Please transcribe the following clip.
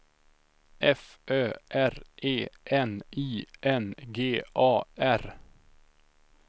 F Ö R E N I N G A R